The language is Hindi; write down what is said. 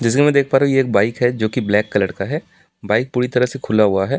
जैसे कि मैं देख पा रहा हूं कि यह एक बाइक है जो की ब्लैक कलर का है बाइक पूरी तरह से खुला हुआ है ।